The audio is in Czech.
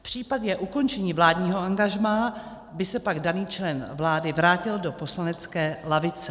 V případě ukončení vládního angažmá by se pak daný člen vlády vrátil do poslanecké lavice.